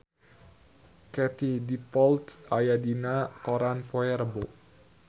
Katie Dippold aya dina koran poe Rebo